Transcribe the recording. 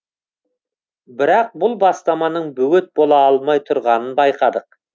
бірақ бұл бастаманың бөгет бола алмай тұрғанын байқадық